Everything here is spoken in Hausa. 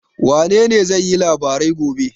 Wanene zai yi labarai gobe?